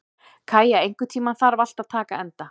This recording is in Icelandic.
Kæja, einhvern tímann þarf allt að taka enda.